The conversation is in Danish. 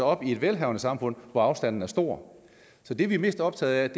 op i et velhavende samfund hvor afstanden er stor så det vi er mest optaget